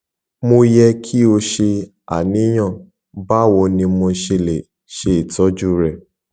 mo yẹ ki o ṣe aniyan bawo ni mo ṣe le ṣe itọju rẹ